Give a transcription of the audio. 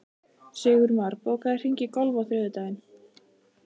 Sigurmar, bókaðu hring í golf á þriðjudaginn.